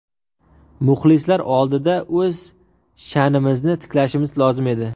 Muxlislar oldida o‘z sha’nimizni tiklashimiz lozim edi.